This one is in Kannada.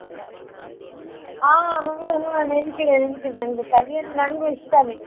ಹಾ ಹಾ ಹಾ ನೆನ್ಪಿದೆ ನೆನ್ಪಿದೆ ನಂಗೂ ಕಲಿ ಅಂದ್ರೆ ನಂಗು ಇಷ್ಟಾನೇ.